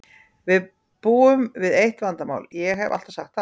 Við búum við eitt vandamál, ég hef alltaf sagt það.